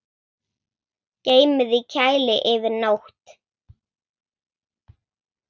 Geymið í kæli yfir nótt.